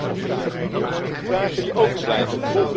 Maar toch heb ik nog vragen, vragen die overblijven.